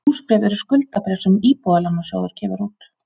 Húsbréf eru skuldabréf sem Íbúðalánasjóður gefur út.